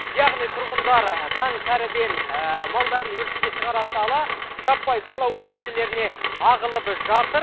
яғни тұрғындар таң сәріден малдарын өріске шығара сала жаппай сайлау учаскелеріне ағылып жатыр